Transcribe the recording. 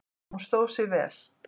Hún stóð sig vel